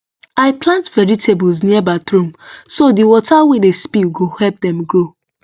i plant vegetables near bathroom so the water wey dey spill go help dem grow